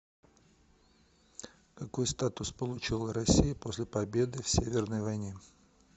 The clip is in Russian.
какой статус получила россия после победы в северной войне